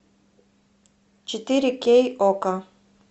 четыре кей окко